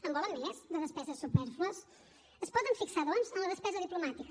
en volen més de despeses supèrflues es poden fixar doncs en la despesa diplomàtica